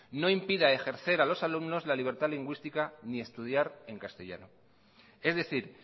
no impida ejercer a los alumnos la libertad lingüística ni estudiar en castellano es decir